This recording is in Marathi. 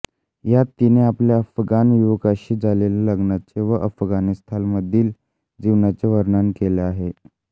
यात तिने आपल्या अफगाण युवकाशी झालेल्या लग्नाचे व अफगाणिस्तानमधील जीवनाचे वर्णन केले आहे